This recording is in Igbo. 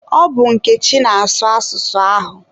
Ọ bụ Nkechi na-asụ asụsụ ahụ.